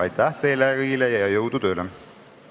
Aitäh teile kõigile ja jõudu tööle!